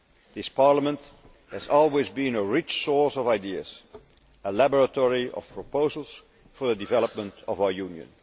this Parliament has always been a rich source of ideas, a laboratory of proposals for the development of our Union.